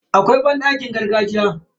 Akwai banɗakin gargajiya.